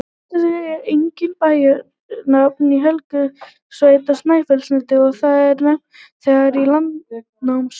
Úlfarsfell er einnig bæjarnafn í Helgafellssveit á Snæfellsnesi, og það er nefnt þegar í Landnámabók.